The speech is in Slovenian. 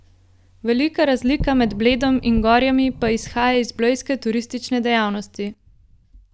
Velika razlika med Bledom in Gorjami pa izhaja iz blejske turistične dejavnosti.